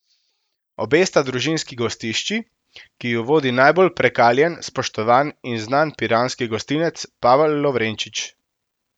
Obe sta družinski gostišči, ki ju vodi najbolj prekaljen, spoštovan in znan piranski gostinec Pavel Lovrečič.